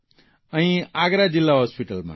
અહીં આગ્રા જીલ્લા હોસ્પીટલમાં